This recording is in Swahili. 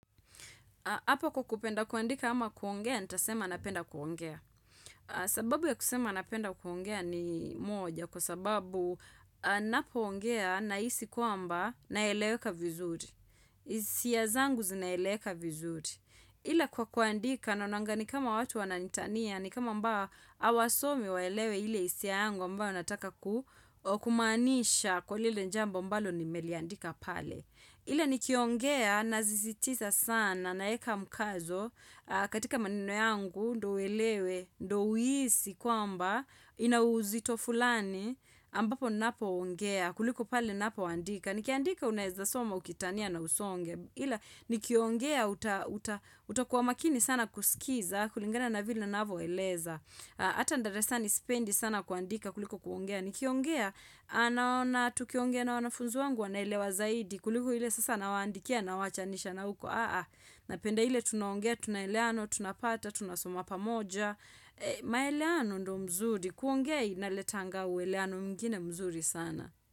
Hapo kwa kupenda kuandika ama kuongea, nitasema napenda kuongea. Sababu ya kusema napenda kuongea ni moja. Kwa sababu ninapoongea nahisi kwamba naeleweka vizuri. Hisia zangu zinaeleweka vizuri. Ile kwa kuandika naonanga ni kama watu wananitania, ni kama ambao hawasomi waelewe ile hisia yangu ambayo nataka kumaanisha kwa lile jambo ambalo nimeliandika pale. Ile nikiongea nasisitiza sana naeka mkazo katika maneno yangu ndio uelewe, ndio uhisi kwamba ina uzito fulani ambapo ninapoongea kuliko pale ninapoandika. Nikiandika unaweza soma ukitania na usonge. Ila nikiongea utakuwa makini sana kusikiza kulingana na vile ninavyoeleza. Ata darasani sipendi sana kuandika kuliko kuongea. Nikiongea, naona tukiongea na wanafunzi wangu wanaelewa zaidi Kuliku ile sasa nawaandikia nawaachanisha na huko Napenda ile tunaongea, tunaelewana, tunapata, tunasoma pamoja maelewano ndio mzuri, kuongea inaletanga uelewano mwingine mzuri sana.